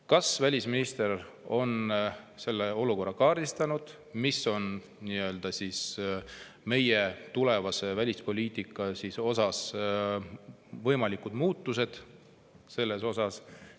Kas välisminister on selle olukorra kaardistanud ja missugused on meie tulevase välispoliitika võimalikud muutused?